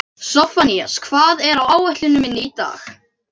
Sophanías, hvað er á áætluninni minni í dag?